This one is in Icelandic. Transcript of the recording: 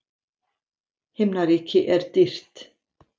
Himnaríki er dýrt.